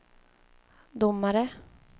domare